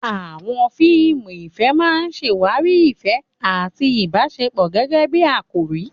Àwọn fíìmù ìfẹ́ máa ń ṣàwárí ìfẹ́ àti ìbáṣepọ̀ gẹ́gẹ́ bí àkòrí.